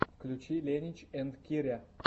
включи ленич энд киря